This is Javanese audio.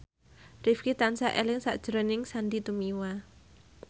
Rifqi tansah eling sakjroning Sandy Tumiwa